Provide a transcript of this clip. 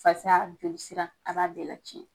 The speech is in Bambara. Fasa jolisira a b'a bɛɛ la cɛn.